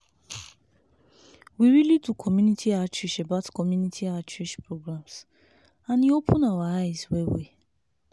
we really do community outreach about community outreach programs and e open our eyes well well.